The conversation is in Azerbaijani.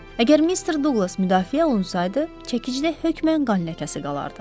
Əgər Mister Duqlas müdafiə olunsaydı, çəkidə hökmən qan ləkəsi qalardı.